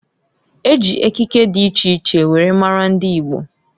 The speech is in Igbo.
E ji ekike di iche iche were maara ndi Igbo.